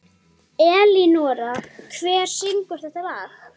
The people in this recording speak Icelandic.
Elínora, hver syngur þetta lag?